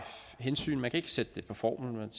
hensyn man kan ikke sætte det på formel man